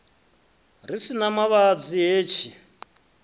ri si na mavhadzi hetshi